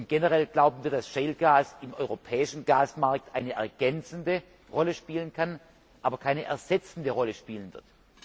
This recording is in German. Generell glauben wir, dass shale gas im europäischen Gasmarkt eine ergänzende Rolle spielen kann, aber keine ersetzende Rolle spielen wird.